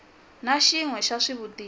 na xin we xa swivutiso